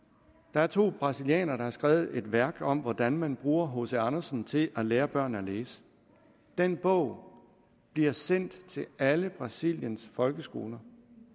der er to brasilianere der har skrevet et værk om hvordan man bruger hc andersen til at lære børn at læse den bog bliver sendt til alle brasiliens folkeskoler